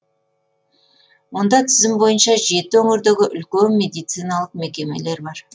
онда тізім бойынша жеті өңірдегі үлкен медициналық мекемелер бар